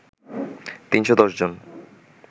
৩১০ জন